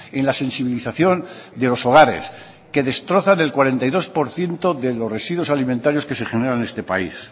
en la sensibilización de los hogares que destrozan es cuarenta y dos por ciento de los residuos alimentarios que se generan en este país